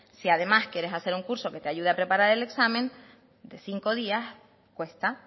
si además quieres hacer un curso que te ayude a preparar el examen de cinco días cuesta